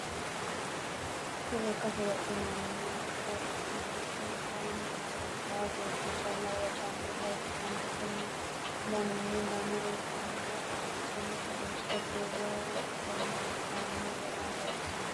Kuni lekkate wodhinanore ikkana Kuni kaayiini labaa beeti calla wodhanota ikkanna Konni danino lame ikkanna dansino kolisshona duumoho Kone kaayiini goguni loonssani